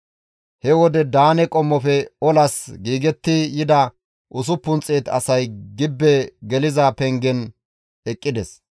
He wode Daane qommofe olas giigetti yida 600 asay gibbe geliza pengen eqqides.